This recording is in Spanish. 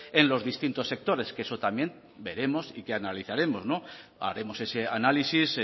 en los distintos sectores que eso también veremos y que analizaremos haremos ese análisis